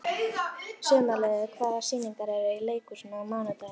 Sumarliði, hvaða sýningar eru í leikhúsinu á mánudaginn?